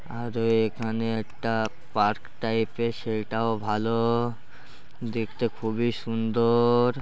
আরে এখানে একটা পার্ক টাইপ -এর সেটাও ভালো দেখতে খুবই সুন্দর।